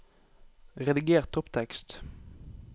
Rediger topptekst